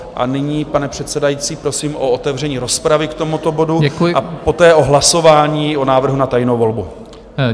A nyní, pane předsedající, prosím o otevření rozpravy k tomuto bodu a poté o hlasování o návrhu na tajnou volbu.